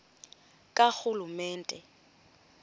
karhulumente